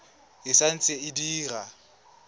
e sa ntse e dira